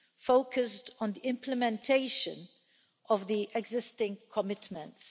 focused on the implementation of the existing commitments.